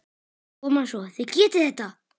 Koma svo, þið getið þetta!